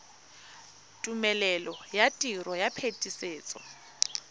tumelelo ya tiro ya phetisetso